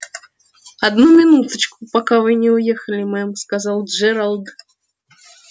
одну минуточку пока вы не уехали мэм сказал джералд